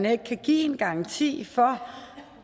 ikke kan give en garanti for